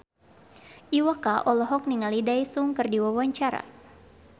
Iwa K olohok ningali Daesung keur diwawancara